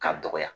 K'a dɔgɔya